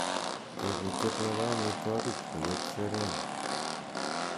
tebutiet nepo omitwogik koyop serena